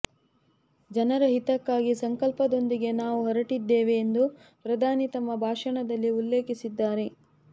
ಜನರ ಹಿತಕ್ಕಾಗಿ ಸಂಕಲ್ಪದೊಂದಿಗೆ ನಾವು ಹೊರಟಿದ್ದೇವೆ ಎಂದು ಪ್ರಧಾನಿ ತಮ್ಮ ಭಾಷಣದಲ್ಲಿ ಉಲ್ಲೇಖಿಸಿದ್ದಾರೆ